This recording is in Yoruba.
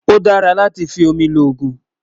ọ̀ dàrà látí fí òmì lógún